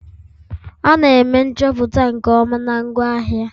A na-eme nchọpụta nke ọma na ngwaahịa